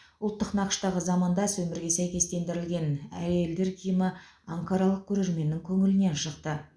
ұлттық нақыштағы замандас өмірге сәйкестендірілген әйелдер киімі анкаралық көрерменнің көңілінен шықты